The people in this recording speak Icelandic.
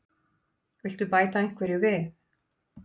Viltu bæta einhverju við?